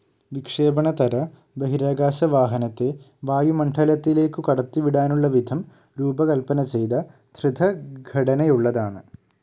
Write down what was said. വിക്ഷേപണതര ബഹിരാകാശവാഹനത്തെ വായുമണ്ഡലത്തിലേക്കു കടത്തിവിടാനുള്ള വിധം രൂപകല്പനചെയ്ത ധൃതഘടനയുള്ളതാണ്.